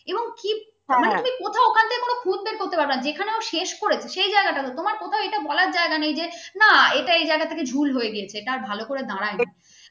মানে তুমি ওখান থেকে কোনো কোথাও খুদ বের করতে পারবে না যেখানেও শেষ করেছে সেই জায়গাটা তোমার কোথাও এটা বলার জায়গা নেই যে না এটাই জায়গা থেকে ঝোল হয়ে গেছে তা ভালো করে দারাইনি